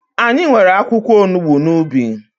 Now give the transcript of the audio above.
Anyị nwere akwụkwọ onugbu n'ubi